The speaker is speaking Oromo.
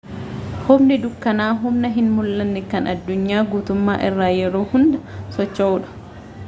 humni dukkanaa humna hin mul'anne kan addunyaa guutummaa irra yeroo hunda socho'uu dha